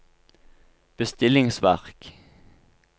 bestillingsverk